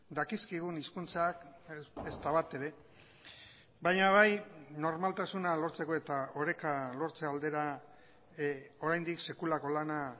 dakizkigun hizkuntzak ezta bat ere baina bai normaltasuna lortzeko eta oreka lortze aldera oraindik sekulako lana